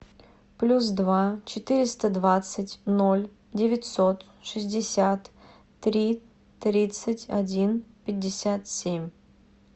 плюс два четыреста двадцать ноль девятьсот шестьдесят три тридцать один пятьдесят семь